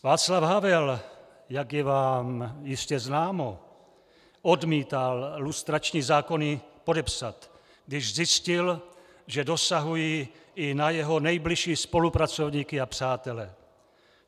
Václav Havel, jak je vám jistě známo, odmítal lustrační zákony podepsat, když zjistil, že dosahují i na jeho nejbližší spolupracovníky a přátele.